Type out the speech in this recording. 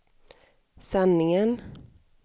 sanningen